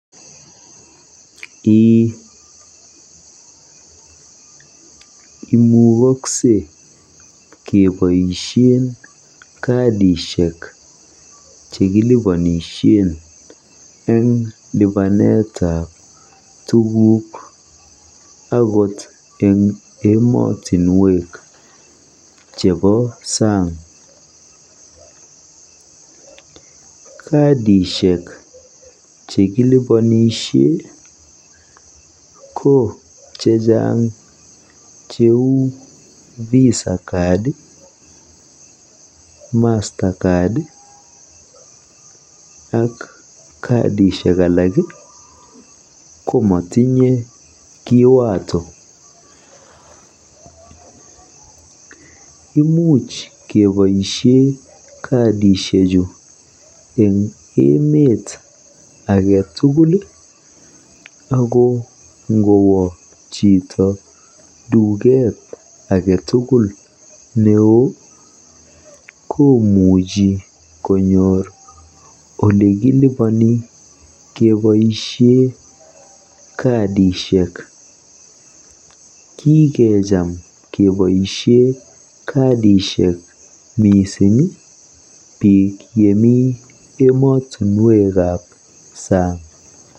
Eeh. Imukaksei keboisie kadishek chekiliponisie eng lipanetab tuguk agot eng emotinwek chebo saang. Kadishek chekilipanisie ko chechang cheu Visa, Mastercard ak kadishek alak ko matinye kiwato. Imuch keboisie kadishechu eng duket ake tugul neoo ako kikecham keboisie kadishek biik yemi emotinwekab saang.